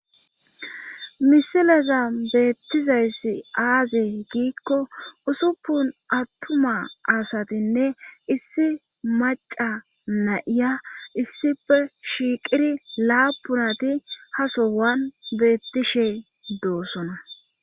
Misileza beettizayssi aazi giikko usuppun attuma asatinne issi maca nayiya issife shiiqiri laapunati hasowan beettishey doossona.